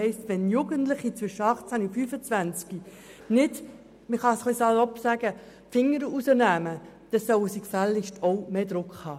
Wenn Jugendliche zwischen 18 und 25 Jahren nicht wirklich Initiative zeigen und sich nicht anstrengen, sollen sie auch mehr Druck spüren.